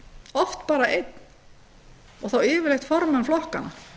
oft bara einn og þá yfirleitt formenn flokkanna